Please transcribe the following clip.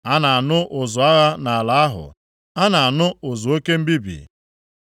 A na-anụ ụzụ agha nʼala ahụ, a na-anụ ụzụ oke mbibi.